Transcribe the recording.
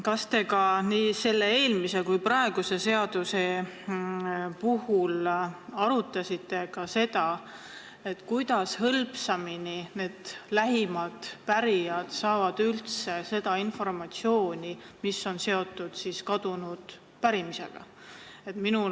Kas te nii eelmise kui ka praeguse seaduse puhul arutasite seda, kuidas need lähimad pärijad saaksid hõlpsamini seda informatsiooni, mis on seotud pärimisega?